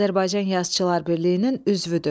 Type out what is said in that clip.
Azərbaycan Yazıçılar Birliyinin üzvüdür.